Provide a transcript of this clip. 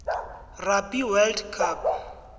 rugby world cup